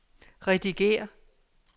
redigér